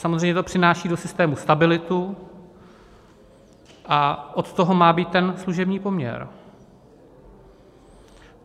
Samozřejmě to přináší do systému stabilitu a od toho má být ten služební poměr.